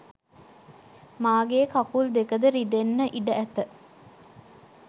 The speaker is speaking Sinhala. මාගේ කකුල් දෙක ද රිදෙන්න ඉඩ ඇත